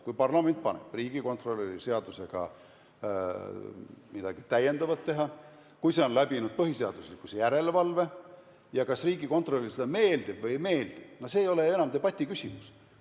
Kui parlament paneb riigikontrolöri seadusega midagi täiendavat tegema, kui see on läbinud põhiseaduslikkuse järelevalve, siis see, kas see riigikontrolörile meeldib või ei meeldi, ei ole enam debati küsimus.